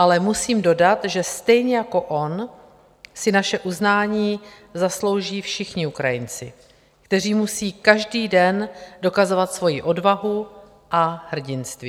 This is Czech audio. Ale musím dodat, že stejně jako on si naše uznání zaslouží všichni Ukrajinci, kteří musí každý den dokazovat svojí odvahu a hrdinství.